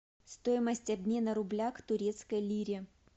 стоимость обмена рубля к турецкой лире